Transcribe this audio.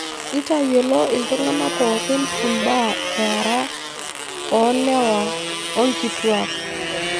Intayiolo iltung'anak pooki imbaa eara oolewa o nkituak